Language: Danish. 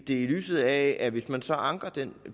i lyset af at hvis man så anker den